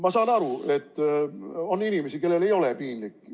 Ma saan aru, et on inimesi, kellel ei ole piinlik.